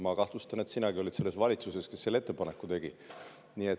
Ma kahtlustan, et sinagi olid selles valitsuses, kes selle ettepaneku tegi.